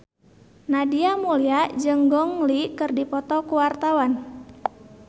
Nadia Mulya jeung Gong Li keur dipoto ku wartawan